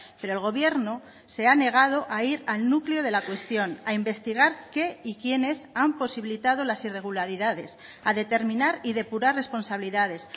pero el gobierno se ha negado a ir al núcleo de la cuestión a investigar qué y quiénes han posibilitado las irregularidades a determinar y depurar responsabilidades